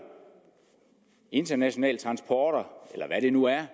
internationale transporter eller hvad det nu er